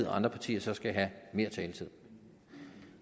at andre partier så skal have mere taletid